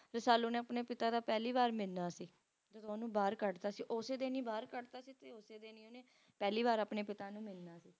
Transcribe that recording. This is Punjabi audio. Rasalu ਨੇ ਆਪਣੇ ਪਿਤਾ ਦਾ ਪਹਿਲੀ ਵਾਰ ਮਿਲਣਾ ਸੀ ਜਦੋਂ ਓਹਨੂੰ ਬਾਹਰ ਕੱਢਤਾ ਸੀ ਓਸੇ ਦਿਨ ਹੀ ਬਾਹਰ ਕੱਢਤਾ ਸੀ ਓਸੇ ਦਿਨ ਹੀ ਉਹਨੇ ਪਹਿਲੀ ਵਾਰ ਆਪਣੇ ਪਿਤਾ ਨੂੰ ਮਿਲਣਾ ਸੀ